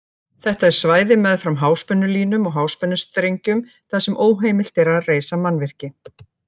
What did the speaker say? Þetta er svæði meðfram háspennulínum og háspennustrengjum þar sem óheimilt er að reisa mannvirki.